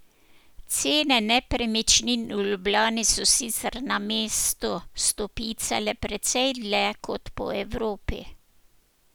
Cene nepremičnin v Ljubljani so sicer na mestu stopicale precej dlje kot po Evropi.